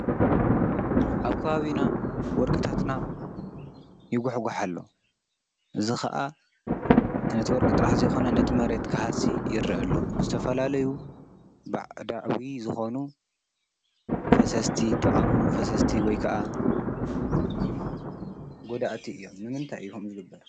ኣብ ከባቢና ወርቅታትና ይጉሕጋሕ ኣሎ፣ እዚ ክዓ ነቲ ወርቂ ጥራሕ ነቲ መሬት ክሃሲ ይረአ ኣሎ፣ ዘተፈላለዩ ባዕዳዊ ዝኮኑ ፈሰስቲ ዝተቃመሙ ፈሰስቲ ወይ ከዓ ጎዳእቲ እዮም፡፡ ንምንታይ እዩ ከምኡ ዝግበር?